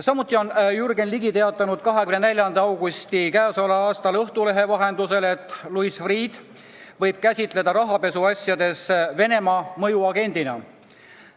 Samuti on Jürgen Ligi teatanud k.a 24. augustil Õhtulehe vahendusel, et Louis Freeh'd võib käsitleda rahapesuasjades Venemaa mõjuagendina.